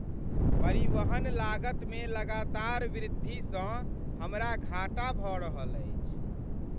परिवहन लागतमे लगातार वृद्धिसँ हमरा घाटा भऽ रहल अछि।